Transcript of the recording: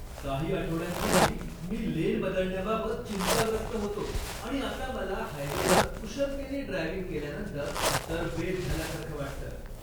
काही आठवड्यांपूर्वी मी लेन बदलण्याबाबत चिंताग्रस्त होतो, आणि आता मला हायवेवर कुशलतेनी ड्रायव्हिंग केल्यानंतर तरबेज झाल्यासारखं वाटतं!